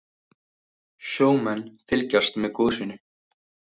Sjómenn fylgjast með gosinu